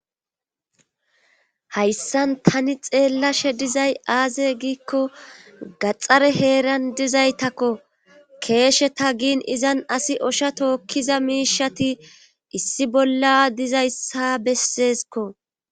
Hayssan tani xeellashe dizay aaze giikko gaxare heeran dizaytako keesheta gin asi izan osha tookkiza miishshati issi bolla dizayssa besseskko.